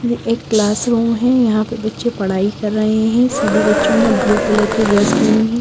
ये एक क्लासरूम है यहाँ पे बच्चे पढ़ाई कर रहे हैं सभी बच्चों ने अब ब्लू कलर की ड्रेस पहनी हुई--